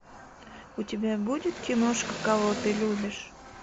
у тебя будет киношка кого ты любишь